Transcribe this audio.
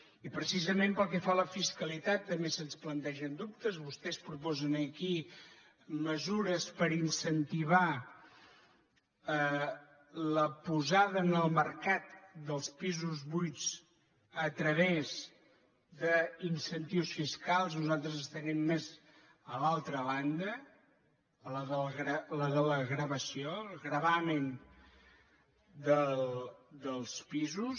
i precisament pel que fa a la fiscalitat tam·bé se’ns plantegen dubtes vostès proposen aquí me·sures per incentivar la posada en el mercat dels pisos buits a través d’incentius fiscals nosaltres estaríem més a l’altra banda a la de la gravació el gravamen dels pisos